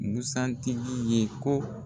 Busan tigi ye ko